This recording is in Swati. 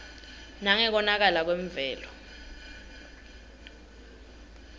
nangekonakala kwemvelo